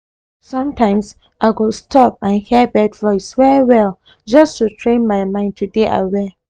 sometimes i go stop and hear bird voice well well just to train my mind to dey aware